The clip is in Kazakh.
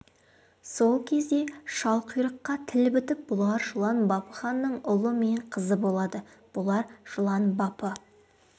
сол кезде шалқұйрыққа тіл бітіп бұлар жылан бапы ханның ұлы мен қызы болады бұлар жылан бапы